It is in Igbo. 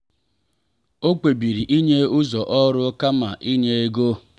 o kpebiri inye ụzọ ọrụ kama inye ego.